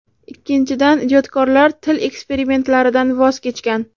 Ikkinchidan , ijodkorlar til eksperimentlaridan voz kechgan.